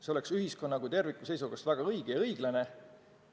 See oleks ühiskonna kui terviku seisukohast väga õige ja õiglane.